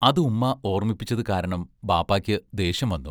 അത് ഉമ്മാ ഓർമ്മിപ്പിച്ചത് കാരണം ബാപ്പായ്ക്ക് ദേഷ്യം വന്നു.